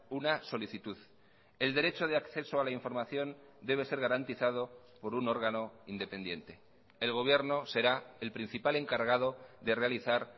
una solicitud el derecho de acceso a la información debe ser garantizado por un órgano independiente el gobierno será el principal encargado de realizar